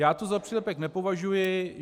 Já to za přílepek nepovažuji.